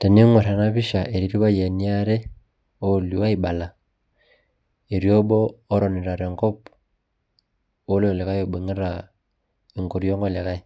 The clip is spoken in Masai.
teningor ena pisha ketii irpayiani aare ooilio oibala. etii obo otonita te nkop, oilo likae oibungita, enkoriong' olikae,